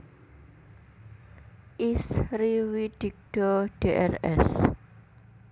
Is Riwidigdo Drs